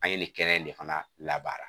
An ye nin kɛnɛ in de fana labaara